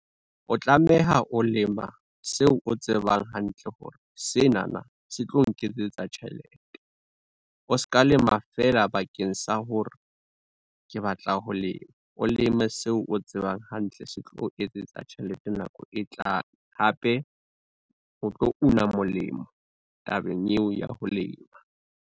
O tlameha o lema seo o tsebang hantle hore senana se tlo nketsetsa tjhelete. O ska lema fela bakeng sa hore ke batla ho lema o leme seo o tsebang hantle se tlo o etsetsa tjhelete nako e tlang. Hape o tlo una molemo tabeng eo ya ho lema.